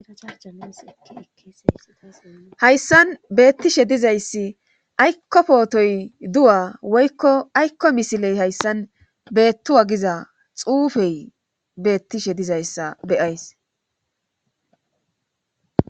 ahayssan beettishe dizayssi aykko pootoy du7a woykko aykko misiley hayssan beettuwagiza xuufey beettishe dizayssa beyays